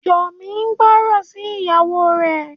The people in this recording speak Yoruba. Yomi gbóròn sí ìyàwó rẹ.